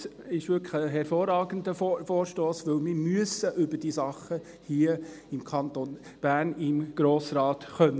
Es ist wirklich ein hervorragender Vorstoss, denn wir müssen hier im Kanton Bern im Grossen Rat über diese Dinge reden können.